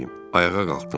Ayağa qalxdım.